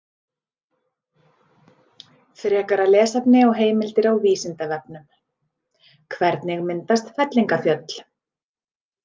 Frekara lesefni og heimildir á Vísindavefnum: Hvernig myndast fellingafjöll?